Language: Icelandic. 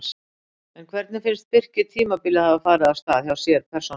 En hvernig finnst Birki tímabilið hafa farið af stað hjá sér persónulega?